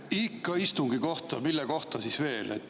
Ikka istungi kohta, mille kohta siis veel.